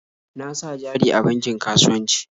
Na sa jari a bankin kasuwanci.